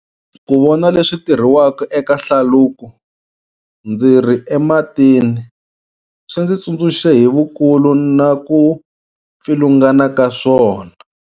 Ku vona leswi tirhiwaka eka hlaluko ndzi ri ematini, swi ndzi tsundzuxe hi vukulu na ku pfilungana ka swona.